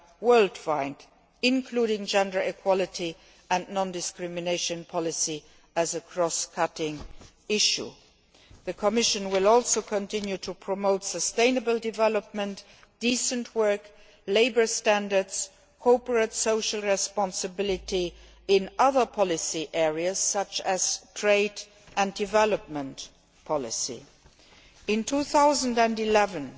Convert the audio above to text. worldwide, including gender equality and non discrimination policy as a cross cutting issue. The Commission will also continue to promote sustainable development, decent work, labour standards and corporate social responsibility in other policy areas, such as trade and development policy. In 2011,